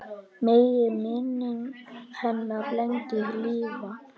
Megi minning hennar lengi lifa.